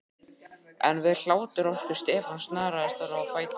En við hláturroku Stefáns snaraðist hann á fætur, sótvondur.